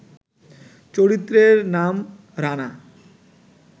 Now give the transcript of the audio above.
চরিত্রের নাম ‘রানা’